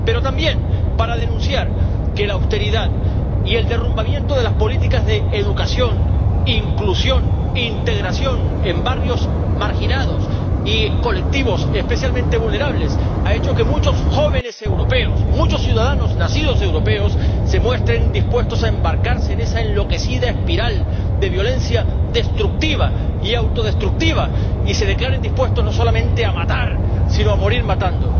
pero también en que denunciemos que la austeridad y el derrumbamiento de las políticas de educación, inclusión e integración en barrios marginados y colectivos especialmente vulnerables han hecho que muchos jóvenes europeos, muchos ciudadanos nacidos europeos, se muestren dispuestos a embarcarse en esa enloquecida espiral de violencia destructiva y autodestructiva, y se declaren dispuestos no solamente a matar, sino a morir matando.